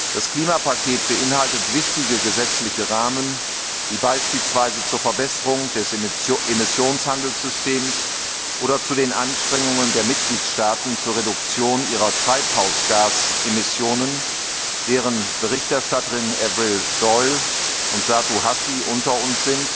Das Klimapaket beinhaltet wichtige gesetzliche Rahmen, die beispielsweise zur Verbesserung des Emissionshandelssystems oder zu den Anstrengungen der Mitgliedstaaten zur Reduktion ihrer Treibhausgasemissionen beitragen die Berichterstatterinnen Frau Doyle und Frau Hassi sind unter uns